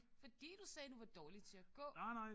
Fordi du sagde du var dårlig til at gå